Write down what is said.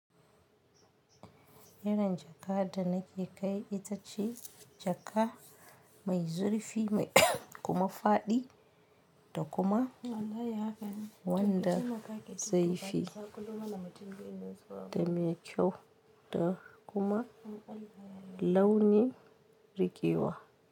Irin jaka da nake kai ita ce jaka mai zurfi mai kuma faɗi da kuma wanda zefi da me kyau da kuma launi riƙewa.